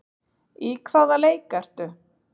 Í hvaða leik ertu?